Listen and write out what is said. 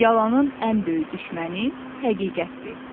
Yalanın ən böyük düşməni həqiqətdir.